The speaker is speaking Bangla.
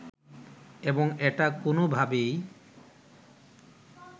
এবং এটা কোনভাবেই